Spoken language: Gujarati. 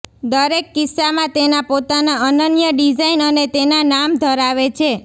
દરેક કિસ્સામાં તેના પોતાના અનન્ય ડિઝાઇન અને તેના નામ ધરાવે છે